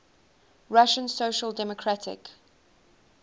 russian social democratic